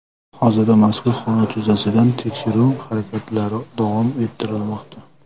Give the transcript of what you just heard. Hozirda mazkur holat yuzasidan tekshiruv harakatlari davom ettirilmoqda.